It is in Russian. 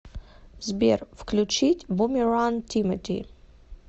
сбер включить бумеранг тимати